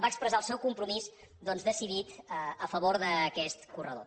va expressar el seu compromís decidit a favor d’aquest corredor